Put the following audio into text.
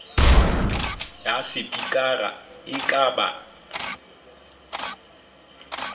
ya sepikara e ka ba